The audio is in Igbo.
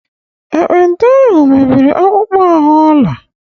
Ekpenta ahụ mebiri akpụkpọ ahụ Ọla